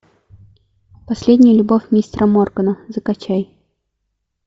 последняя любовь мистера моргана закачай